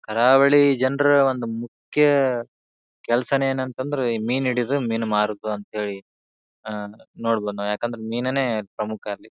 ಕರಾವಳಿ ಜನರ ಒಂದು ಮುಖ್ಯ ಕೆಲಸನೇ ಏನೆಂದರೆ ಮೀನು ಹಿಡಿಯೋದು ಮೀನು ಮಾರೋದು ಅಂತ ಹೇಳಿ. ಆ ನೋಡಬೋದು ಏನೆಂದ್ರೆ ಮೀನನ್ನೇ ಪ್ರಮುಖ ಅಲ್ಲಿ.